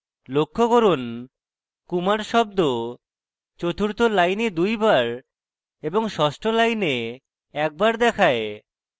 লক্ষ্য করুন kumar শব্দ চতুর্থ line দুইবার এবং ষষ্ঠ line একবার দেখায়